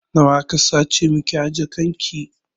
Nawa aka sace miki a jakan ki?